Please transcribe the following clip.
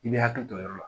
I bɛ hakili to o yɔrɔ la